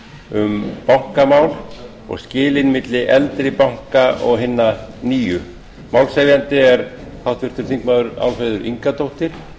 um bankamál og skilin milli eldri banka og hinna nýju málshefjandi er háttvirtir þingmenn álfheiður ingadóttir